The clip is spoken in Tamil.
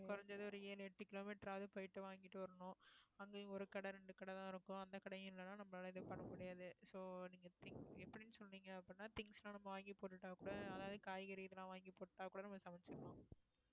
குறைஞ்சது ஒரு ஏழு எட்டு kilometre ஆவது போயிட்டு வாங்கிட்டு வரணும் அங்கேயும் ஒரு கடை இரண்டு கடைதான் இருக்கும் அந்த கடையும் இல்லைன்னா நம்மளால இது பண்ண முடியாது so நீங்க thin~ எப்படின்னு சொன்னீங்க அப்படின்னா things எல்லாம் நம்ம வாங்கி போட்டுட்டா கூட அதாவது காய்கறி இதெல்லாம் வாங்கி போட்டுட்டா கூட நம்ம சமைச்சிக்கலாம்